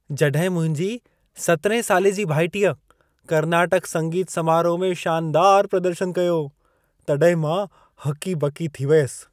जॾहिं मुंहिंजी 17 साले जी भाइटीअ कर्नाटक संगीत समारोह में शानदार प्रदर्शन कयो, तॾहिं मां हकी ॿकी थी वियसि।